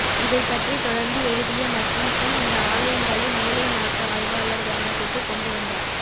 இதைப்பற்றி தொடர்ந்து எழுதிய மக்கின்ஸி இந்த ஆலயங்களை மேலைநாட்டு ஆய்வாளர் கவனத்திற்கு கொண்டுவந்தார்